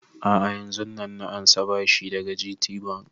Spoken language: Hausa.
A'a yanzun nan na ansa bashi daga GTbank